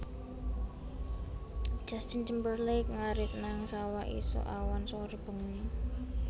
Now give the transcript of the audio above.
Justin Timberlake ngarit nang sawah isuk awan sore bengi